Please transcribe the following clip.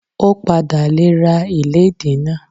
Ó padà le ra ìlédìí náà.